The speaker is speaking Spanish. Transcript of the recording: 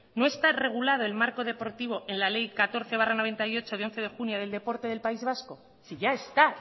no está regulado el marco deportivo en la ley catorce barra noventa y ocho de once de junio del deporte del país vasco si ya está